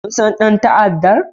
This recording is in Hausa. Kun san dan ta'addan?